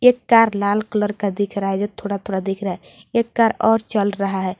एक कार लाल कलर का दिख रहा है जो थोड़ा थोड़ा दिख रहा है एक कार और चल रहा है।